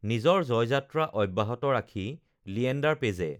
নিজৰ জয়যাত্ৰা অব্যাহত ৰাখি লিয়েণ্ডাৰ পেজে